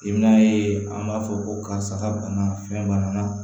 I bɛn'a ye an b'a fɔ ko karisa banna fɛn banna